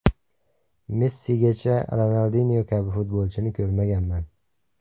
Messigacha Ronaldinyo kabi futbolchini ko‘rmaganman”.